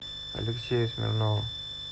алексею смирнову